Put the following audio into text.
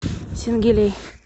сенгилей